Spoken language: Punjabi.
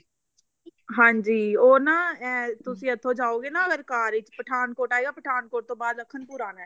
ਹਾਂਜੀ ਉਹ ਨਾ ਇਹ ਤੁਸੀਂ ਇੱਥੋਂ ਜਾਓਗੇ ਨਾ ਅਗਰ car ਵਿੱਚ ਪਠਾਨਕੋਟ ਆਏਗਾ ਪਠਾਨਕੋਟ ਤੋਂ ਬਾਅਦ ਲਖਨਪੁਰ ਆਏਗਾ